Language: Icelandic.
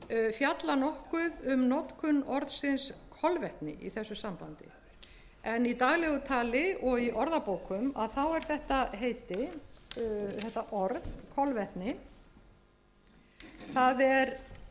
fjalla nokkuð um notkun orðsins kolvetni í þessu sambandi en í daglegu tali og í orðabókum þá er þetta heiti þetta orð kolvetni það